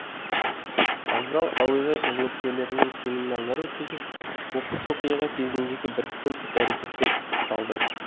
вокзал әуежай қызметкерлерімен семинарлар өткізіліп оқыс оқиға кезіндегі біріккен іс әрекеттер пысықталды